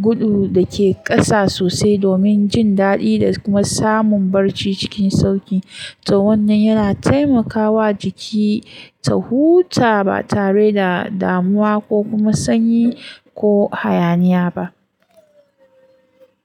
gudu da ke ƙasa sosai domin jin daɗi da kuma samun barci cikin sauƙi. To wannan yana taimakawa jiki ta huta ba tare da damuwa ko kuma sanyi ko hayaniya ba.